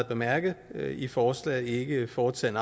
bemærket i forslaget ikke foretaget